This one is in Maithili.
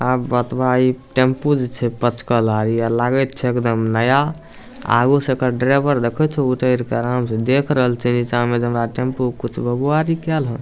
आब बतवा इ टेंपू जे छै पचकल लागे ये लागे ते छै एकदम नया आगु से एकड़ ड्राइवर देखे छो आराम से उतर के आराम से देख रहल छै नीचा मे जे हमरा टेंपू के कुछो भेबो आरी केल हेन।